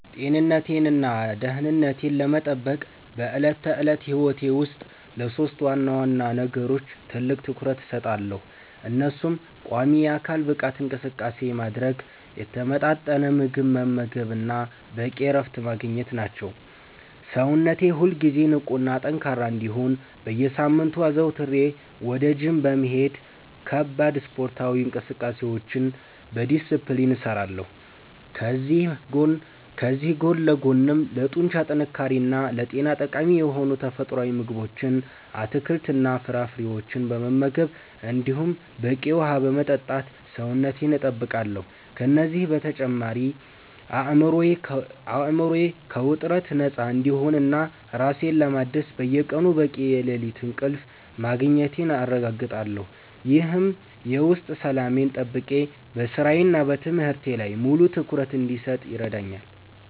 ጤንነቴንና ደህንነቴን ለመጠበቅ በዕለት ተዕለት ሕይወቴ ውስጥ ለሦስት ዋና ዋና ነገሮች ትልቅ ትኩረት እሰጣለሁ፤ እነሱም ቋሚ የአካል ብቃት እንቅስቃሴ ማድረግ፣ የተመጣጠነ ምግብ መመገብ እና በቂ እረፍት ማግኘት ናቸው። ሰውነቴ ሁልጊዜ ንቁና ጠንካራ እንዲሆን በየሳምንቱ አዘውትሬ ወደ ጂም በመሄድ ከባድ ስፖርታዊ እንቅስቃሴዎችን በዲስፕሊን እሰራለሁ፤ ከዚህ ጎን ለጎንም ለጡንቻ ጥንካሬና ለጤና ጠቃሚ የሆኑ ተፈጥሯዊ ምግቦችን፣ አትክልትና ፍራፍሬዎችን በመመገብ እንዲሁም በቂ ውሃ በመጠጣት ሰውነቴን እጠብቃለሁ። ከእነዚህ በተጨማሪ አእምሮዬ ከውጥረት ነፃ እንዲሆንና ራሴን ለማደስ በየቀኑ በቂ የሌሊት እንቅልፍ ማግኘቴን አረጋግጣለሁ፤ ይህም የውስጥ ሰላሜን ጠብቄ በሥራዬና በትምህርቴ ላይ ሙሉ ትኩረት እንድሰጥ ይረዳኛል።